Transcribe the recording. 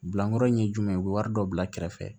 Bilakɔrɔ ye jumɛn ye u bɛ wari dɔ bila kɛrɛfɛ